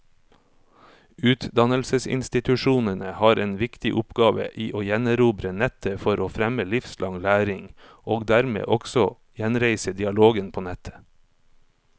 Utdannelsesinstitusjonene har en viktig oppgave i å gjenerobre nettet for å fremme livslang læring, og dermed også gjenreise dialogen på nettet.